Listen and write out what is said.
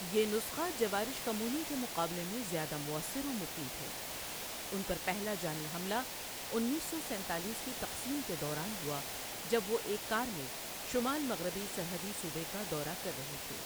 یہ نسخہ جوارِش کمونی کے مقابلے میں زیادہ مؤثر و مفید ہے ان پر پہلا جانی حملہ انیس سو سینتالس کی تقسیم کے دوران ہوا جب وہ ایک کار میں شمال مغربی سرحدی صوبے کا دورہ کر رہے تھے۔